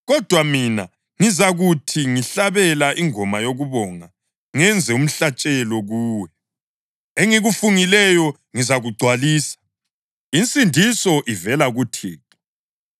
Kodwa mina, ngizakuthi ngihlabela ingoma yokubonga ngenze umhlatshelo kuwe. Engikufungileyo ngizakugcwalisa. Insindiso ivela kuThixo.”